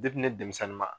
ne denmisɛnnin ma